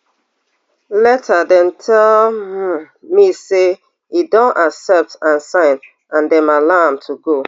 later dem tell um me say e don accept and sign and dem allow am to go